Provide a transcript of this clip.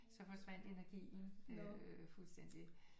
Så forsvandt energien fuldstændig